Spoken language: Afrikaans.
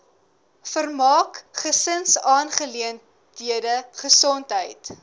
vermaak gesinsaangeleenthede gesondheid